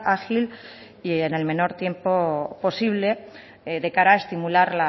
ágil y en el menor tiempo posible de cara a estimular